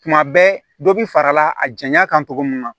Tuma bɛɛ dɔ bi fara a janya kan cogo min na